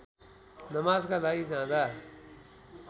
नमाजका लागि जाँदा